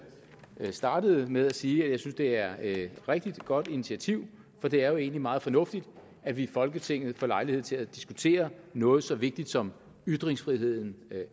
startede med at sige nemlig at jeg synes det er et rigtig godt initiativ for det er jo egentlig meget fornuftigt at vi i folketinget får lejlighed til at diskutere noget så vigtigt som ytringsfriheden